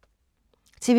TV 2